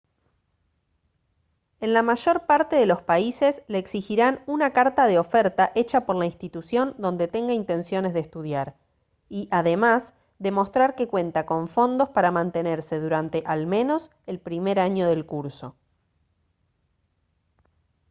en la mayor parte de los países le exigirán una carta de oferta hecha por la institución donde tenga intenciones de estudiar y además demostrar que cuenta con fondos para mantenerse durante al menos el primer año del curso